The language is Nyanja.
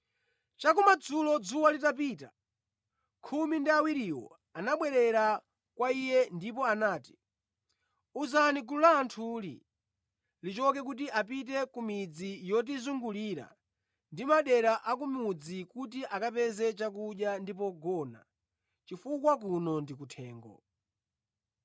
Chakumadzulo dzuwa litapita, khumi ndi awiriwo anabwera kwa Iye ndipo anati, “Uzani gulu la anthuli lichoke kuti apite ku midzi yotizungulira ndi madera a ku mudzi kuti akapeze chakudya ndi pogona, chifukwa kuno ndi kuthengo.”